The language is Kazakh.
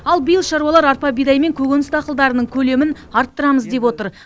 ал биыл шаруалар арпа бидай мен көкөніс дақылдарының көлемін арттырамыз деп отыр